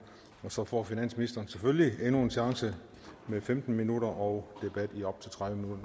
og så får finansministeren selvfølgelig endnu en chance med femten minutter og debat i op til tredive